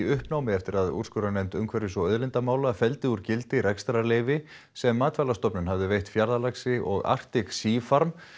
uppnámi eftir að úrskurðarnefnd umhverfis og auðlindamála felldi úr gildi rekstrarleyfi sem Matvælastofnun hafði veitt Fjarðalaxi og Arctic Sea farm